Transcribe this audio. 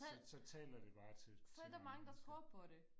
så så taler det bare til til mange mennesker